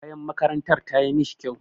Kayan makarantar tayi mishi kyau.